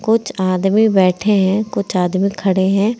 कुछ आदमी बैठे हैं कुछ आदमी खड़े हैं।